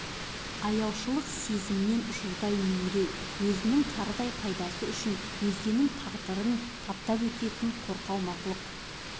аяушылық сезімнен жұрдай меңіреу өзінің тарыдай пайдасы үшін өзгенің тағдырын таптап өтетін қорқау мақұлық